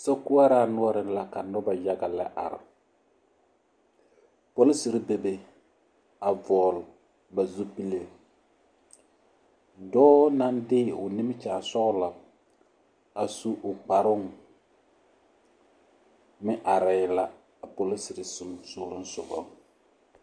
Sokoɔraa noɔre la ka noba yaga yaga lɛ are polisiri bebe a vɔgle ba zupile dɔɔ naŋ de o nimikyaane sɔglɔ a su o kparoo meŋ arɛɛ la a polisiri sosogɔ sogaŋ.